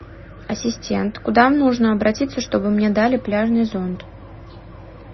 ассистент куда нужно обратиться чтобы мне дали пляжный зонт